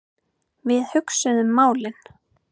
Við hugsuðum málin.